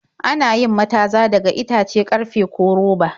Ana yin mataza daga itace, karfe, ko roba.